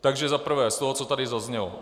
Takže za prvé z toho, co tady zaznělo.